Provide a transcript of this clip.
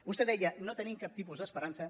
vostè deia no tenim cap tipus d’esperança